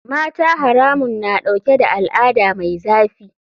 Mata haramun na dauke da al'ada mai zafi.